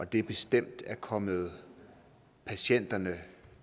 det bestemt er kommet patienterne